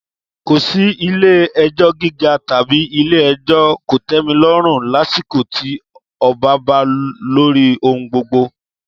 Kò sí Ilé-ẹjọ́ Gíga tàbí Ilé-ẹjọ́ Kòtẹ́milọ́rùn lásìkò tí ọba ba lórí ohun gbogbo.